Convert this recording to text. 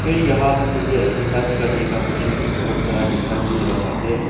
ये यहां पे मुझे एक्सरसाइज करने का मशीन भी बहोत सारा दिखाई दे रहा है।